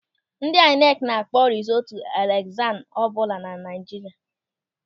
Ndị aịnekị na-akpọ rizọọtụ elekshọn ọbụla na Naịjirịa.